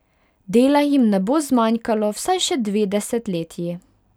Dela jim ne bo zmanjkalo vsaj še dve desetletji.